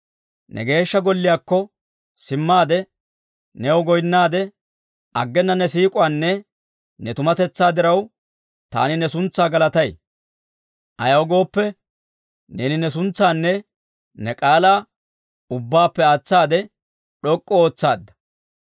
Ne Geeshsha Golliyaakko simmaade, new goynaade, aggena ne siik'uwaanne ne tumatetsaa diraw, taani ne suntsaa galatay; ayaw gooppe, neeni ne suntsaanne ne k'aalaa, ubbaappe aatsaade d'ok'k'u ootsaadda.